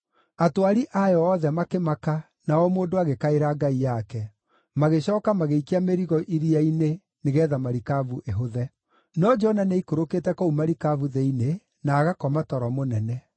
Atwari ayo othe makĩmaka na o mũndũ agĩkaĩra ngai yake; magĩcooka magĩikia mĩrigo iria-inĩ, nĩgeetha marikabu ĩhũthe. No Jona nĩaikũrũkĩte kũu marikabu thĩinĩ, na agakoma toro mũnene.